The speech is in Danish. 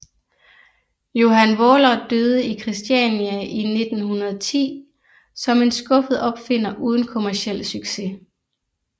Johan Vaaler døde i Kristiania i 1910 som en skuffet opfinder uden kommerciel succes